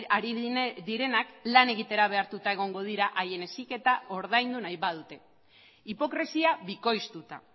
ari direnak lan egitera behartuta egongo dira haien heziketa ordaindu nahi badute hipokresia bikoiztuta